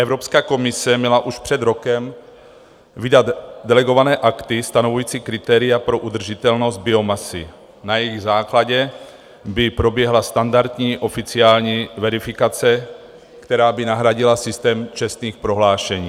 Evropská komise měla už před rokem vydat delegované akty stanovující kritéria pro udržitelnost biomasy, na jejichž základě by proběhla standardní oficiální verifikace, která by nahradila systém čestných prohlášení.